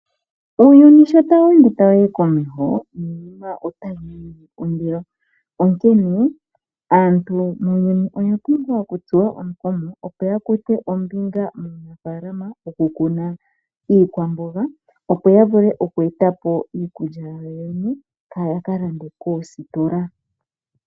Uuyuni sho tawu ende tawu yi komeho niinima otayi ningi ondilo onkene aantu oya pumbwa okutsuwa omukumo opo ya kuthe ombinga muunafaalama wokukuna iikwamboga opo ya vule oku eta pi iikulya yawo yene kaya ka lande koositola.